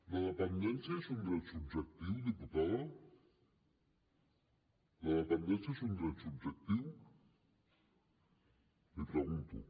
la dependència és un dret subjectiu diputada la dependència és un dret subjectiu l’hi pregunto